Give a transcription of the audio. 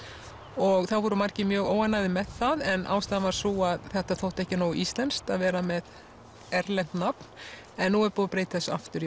og það voru margir mjög óánægðir með það en ástæðan var sú að þetta þótti ekki nógu íslenskt að vera með erlent nafn en nú er búið að breyta þessu aftur í